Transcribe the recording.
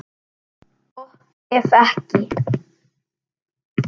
Gott ef ekki.